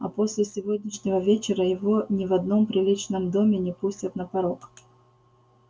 а после сегодняшнего вечера его ни в одном приличном доме не пустят на порог